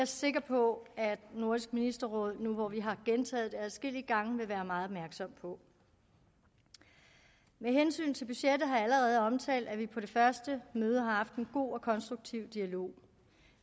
sikker på at nordisk ministerråd nu hvor vi har gentaget det adskillige gange vil være meget opmærksom på med hensyn til budgettet har jeg allerede omtalt at vi på det første møde har haft en god og konstruktiv dialog